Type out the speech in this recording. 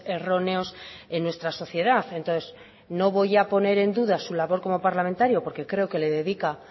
erróneos en nuestra sociedad entonces no voy a poner en duda su labor como parlamentario porque creo que le dedica